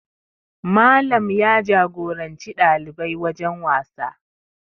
Malam ya jagoranci ɗalibai wajen wasa